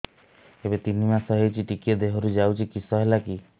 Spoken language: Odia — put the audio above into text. ଏବେ ତିନ୍ ମାସ ହେଇଛି ଟିକିଏ ଦିହରୁ ଯାଉଛି କିଶ ହେଲାକି